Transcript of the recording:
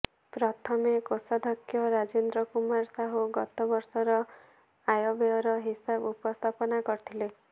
ପ୍ରଥମେ କୋଷାଧ୍ୟକ୍ଷ ରାଜେନ୍ଦ୍ର କୁମାର ସାହୁ ଗତ ବର୍ଷର ଆୟବ୍ୟୟର ହିସାବ ଉପସ୍ଥାପନ କରିଥିଲେ